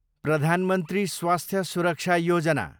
प्रधान मन्त्री स्वास्थ्य सुरक्षा योजना